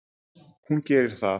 Hún gerir það.